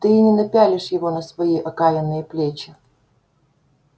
ты и не напялишь его на свои окаянные плечища